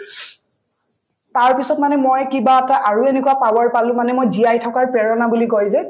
তাৰপিছত মানে মই কিবা এটা আৰু এনেকুৱা power পালো মানে মই জীয়াই থকাৰ প্ৰেৰণা বুলি কই যে